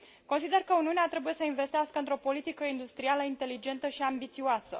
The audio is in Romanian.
Consider că Uniunea trebuie să investească într o politică industrială inteligentă și ambițioasă.